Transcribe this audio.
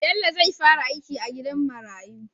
Bello zai fara aiki a gidan marayu